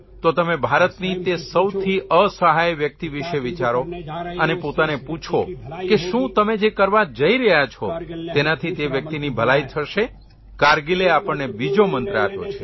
તો તમે ભારતની તે સૌથી અસહાય વ્યક્તિ વિષે વિચારો અને પોતાને પૂછો કે શું તમે જે કરવા જઇ રહ્યા છો તેનાથી તે વ્યક્તિની ભલાઇ થશે કારગીલે આપણને બીજો મંત્ર આપ્યો છે